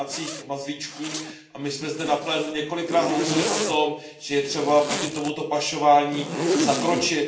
domácích mazlíčků, a my jsme zde na plénu několikrát hovořili o tom, že je třeba proti tomuto pašování zakročit.